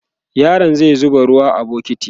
yaron zai zuba ruwa a bukiti